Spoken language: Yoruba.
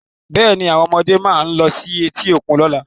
Bẹ́ẹ̀ ni, àwọn ọmọdé máa lọ sí etí òkun lọ́la.